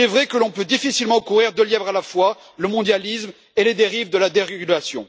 Il est vrai que l'on peut difficilement courir deux lièvres à la fois le mondialisme et les dérives de la dérégulation.